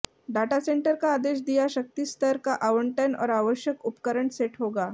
data centre का आदेश दिया शक्ति स्तर का आवंटन और आवश्यक उपकरण सेट होगा